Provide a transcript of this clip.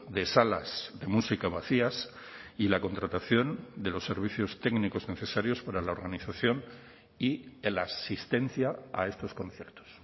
de salas de música vacías y la contratación de los servicios técnicos necesarios para la organización y la asistencia a estos conciertos